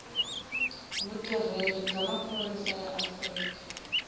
vutirheli bya maphorisa ya afrika